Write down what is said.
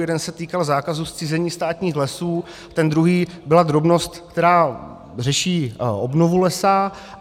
Jeden se týkal zákazu zcizení státních lesů, ten druhý byla drobnost, která řeší obnovu lesa.